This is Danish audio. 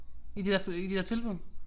I det der i de der tilbud